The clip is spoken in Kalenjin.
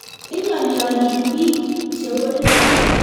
inyooli olik biik chebolei